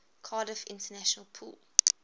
cardiff international pool